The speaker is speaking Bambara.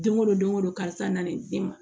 Don o don o don karisa na ne den ma